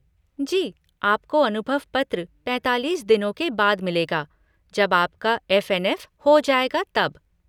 जी, आपको अनुभव पत्र पैंतालीस दिनों के बाद मिलेगा, जब आपका एफ़ एन एफ़ हो जाएगा तब।